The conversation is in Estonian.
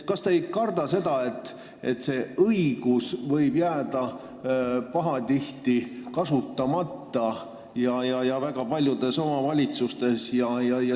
Kas te ei karda, et see õigus võib väga paljudes omavalitsustes pahatihti kasutamata jääda?